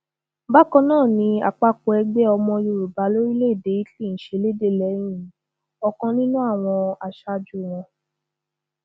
bákan náà ni àpapọ ẹgbẹ ọmọ yorùbá lórílẹèdè italy ń ṣẹlẹẹdẹ lẹyìn ọkan nínú àwọn aṣáájú wọn